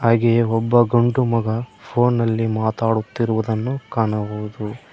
ಹಾಗೆಯೇ ಒಬ್ಬ ಗಂಡು ಮಗ ಫೋನಲ್ಲಿ ಮಾತಾಡುತ್ತಿರುವುದನ್ನು ಕಾಣಬೋದು.